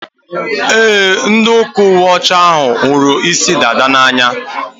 E, ndị ụka uwe ọcha hụrụ isi dada n'anya.